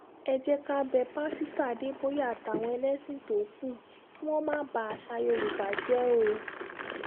ẹ jẹ́ ká bẹ pásítọ̀ adéboyè àtàwọn olórí ẹlẹ́sìn tó kù kí wọ́n má ba àṣà yorùbá jẹ́ o